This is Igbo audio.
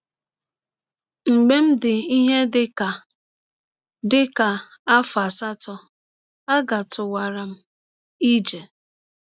Mgbe m dị ihe dị ka dị ka afọ asatọ, agatụwara m ije.